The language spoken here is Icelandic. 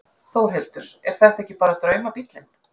Þórhildur: Er þetta ekki bara draumabíllinn?